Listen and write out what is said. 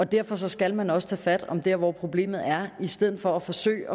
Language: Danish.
derfor skal man også tage fat dér hvor problemet er i stedet for at forsøge